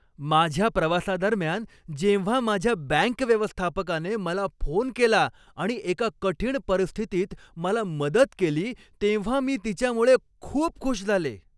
माझ्या प्रवासादरम्यान जेव्हा माझ्या बँक व्यवस्थापकाने मला फोन केला आणि एका कठीण परिस्थितीत मला मदत केली तेव्हा मी तिच्यामुळे खूप खुश झाले.